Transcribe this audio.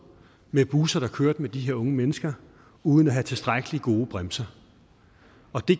med busser der kørte med de her unge mennesker uden at have tilstrækkeligt gode bremser